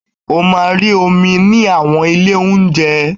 O máa rí omi ní àwọn ilé ounje.